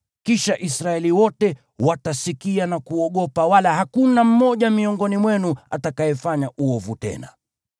Kisha Israeli wote watasikia na kuogopa, wala hakuna mmoja miongoni mwenu atakayefanya uovu tena.